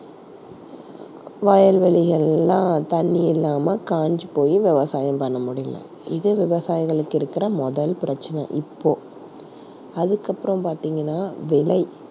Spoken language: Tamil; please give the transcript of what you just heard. வயல்வெளிகள் எல்லாம் தண்ணீர் இல்லாம காஞ்சு போய் விவசாயம் பண்ண முடியல. இது விவசாயிகளுக்கு இருக்கிற முதல் பிரச்சினை இப்போ. அதுக்கப்புறம் பார்த்தீங்கன்னா விலை.